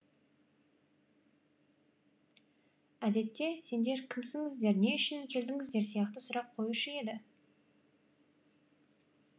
әдетте сендер кімсіңіздер не үшін келдіңіздер сияқты сұрақ қоюшы еді